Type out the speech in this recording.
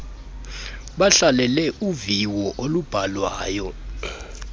bahlalele uviwo olubhalwayo